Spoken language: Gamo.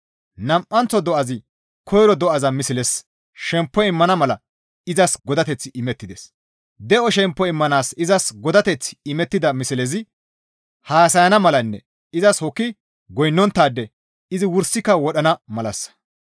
Nam7anththo do7azi koyro do7aza mislezas shemppo immana mala izas godateththi imettides; de7o shemppo immanaas izas godateththi imettida mislezi haasayana malanne izas hokki goynnonttaade izi wursika wodhana malassa.